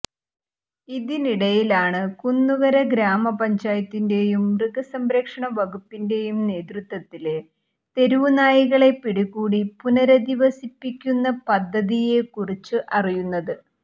ഇതിനിടയിലാണ് കുന്നുകര ഗ്രാമ പഞ്ചായത്തിന്റെയും മൃഗസംരക്ഷ വകുപ്പിന്റെയും നേതൃത്വത്തില് തെരുവുനായകളെ പിടികൂടി പുനരധിവസിപ്പിക്കുന്ന പദ്ധതിയെ കുറിച്ച് അറിയുന്നത്